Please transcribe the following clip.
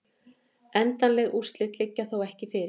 Endanleg úrslit liggja þó ekki fyrir